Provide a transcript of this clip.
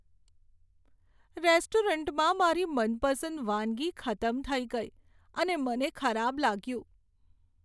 રેસ્ટોરન્ટમાં મારી મનપસંદ વાનગી ખતમ થઈ ગઈ અને મને ખરાબ લાગ્યું.